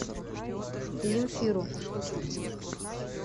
земфиру